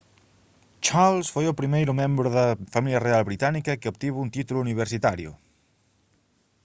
charles foi o primeiro membro da familia real británica que obtivo un título universitario